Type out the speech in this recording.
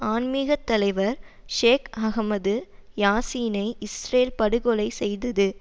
ஆன்மீகத் தலைவர் Sheikh Ahmed யாசீனை Israel படுகொலை செய்தது